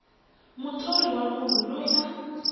muthori wa munhu loyi a